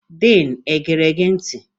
Din e gere gị ntị?